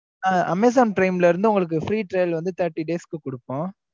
ஆஹ் amazon prime ல இருந்து உங்களுக்கு free trail வந்து thirty days க்கு குடுப்போம்.